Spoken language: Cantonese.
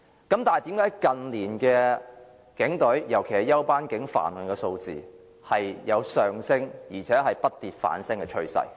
但是，為甚麼近年警員犯案的數字有上升的趨勢，而且不跌反升？